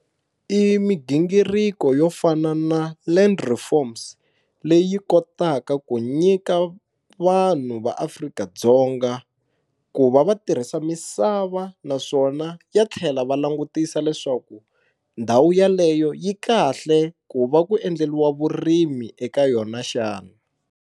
I migingiriko yo fana na Land reforms leyi kotaka ku nyika vanhu va Afrika-Dzonga ku va va tirhisa misava naswona ya tlhela va langutisa leswaku ndhawu yeleyo yi kahle ku va ku endleliwa vurimi eka yona xana.